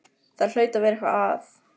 Það hlaut að vera eitthvað að.